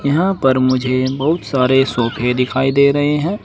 यहां पर मुझे बहुत सारे सोफे दिखाई दे रहे हैं।